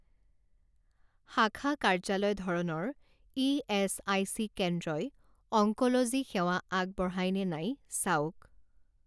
শাখা কাৰ্যালয় ধৰণৰ ইএচআইচি কেন্দ্ৰই অংক'লজি সেৱা আগবঢ়ায় নে নাই চাওক